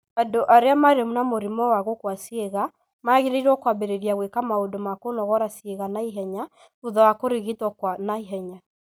Andũ arĩa marĩ na mũrimũ wa gũkua ciĩga magĩrĩirũo kwambĩrĩria gwĩka maũndũ ma kũnogora ciĩga na ihenya thutha wa kũrigitwo kwa na ihenya.